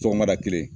Sɔgɔmada kelen